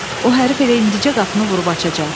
O hərfi elə indicə qapını vurub açacaq.